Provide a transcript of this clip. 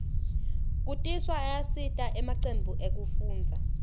kutiswa ayasita emacembu ekufundza